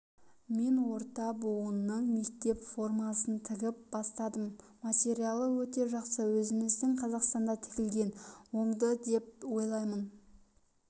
мен орта буынның мектеп формасын тігіп бастадым материалы өте жақсы өзіміздің қазақстанда тігілген оңды деп ойлаймын